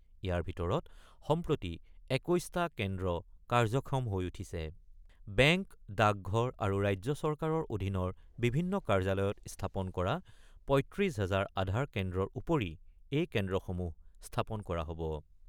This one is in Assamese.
ইয়াৰ ভিতৰত সম্প্ৰতি ২১টা কেন্দ্ৰ কাৰ্যক্ষম হৈ উঠিছে ৷ বেংক, ডাকঘৰ আৰু ৰাজ্য চৰকাৰৰ অধীনৰ বিভিন্ন কাৰ্যলয়ত স্থাপন কৰা ৩৫ হাজাৰ আধাৰ কেন্দ্ৰৰ উপৰি এই কেন্দ্ৰসমূহ স্থাপন কৰা হ'ব।